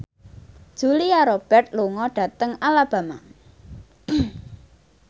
Julia Robert lunga dhateng Alabama